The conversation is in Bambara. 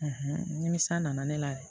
nimisa nana ne la yen